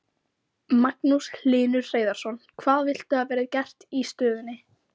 Magnús Hlynur Hreiðarsson: Hvað viltu að verði gert í stöðunni?